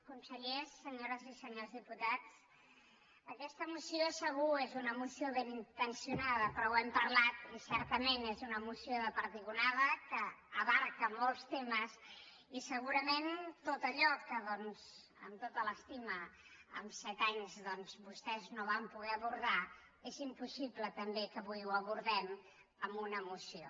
consellers senyores i senyors diputats aquesta moció segur és una moció ben intencionada però ho hem parlat i certament és una moció de perdigonada que abraça molts temes i segurament tot allò que doncs amb tota l’estima en set anys vostès no van poder abordar és impossible també que avui ho abordem amb una moció